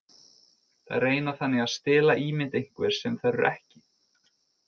Þær reyna þannig að stela ímynd einhvers sem þær eru ekki.